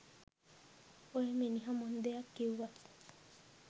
ඔය මිනිහ මොන දෙයක් කිව්වත්